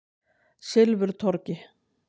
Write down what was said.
Silfurtorgi